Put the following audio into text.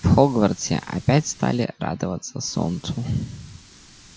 в хогвартсе опять стали радоваться солнцу